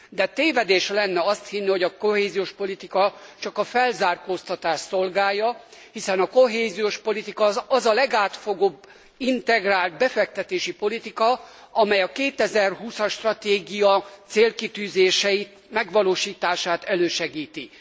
De tévedés lenne azt hinni, hogy a kohéziós politika csak a felzárkóztatást szolgálja, hiszen a kohéziós politika az a legátfogóbb integrált befektetési politika, amely a 2020 as stratégia célkitűzései megvalósítását elősegíti.